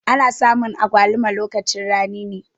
Ana samun agwaluma lokacin rani ne.